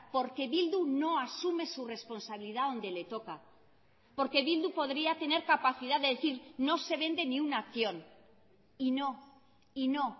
porque bildu no asume su responsabilidad donde le toca porque bildu podría tener capacidad de decir no se vende ni una acción y no y no